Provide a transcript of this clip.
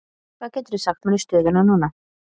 Hvað geturðu sagt mér um stöðuna núna?